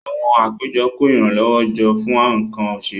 Àwọn àpéjọ kó ìrànlọ́wọ́ jọ fún nǹkan òṣèlú